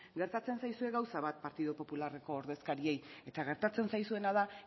gertatzen zaizue gauza bat partidu popularreko ordezkariei eta gertatzen zaizuena da